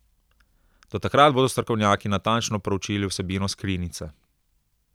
Do takrat bodo strokovnjaki natančno proučili vsebino skrinjice.